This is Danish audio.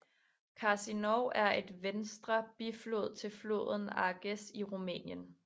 Cârcinov er en venstre biflod til floden Argeș i Rumænien